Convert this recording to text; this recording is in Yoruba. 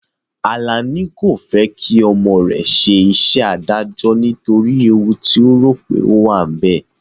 Alani kò fẹ́ kí ọmọ rẹ̀ ṣe iṣẹ́ adájọ́ nítorí ewu ti ó rò pé ó wà níbẹ̀